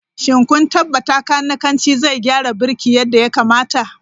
Shin kun tabbata kanikanci zai gyara birki yadda ya kamata?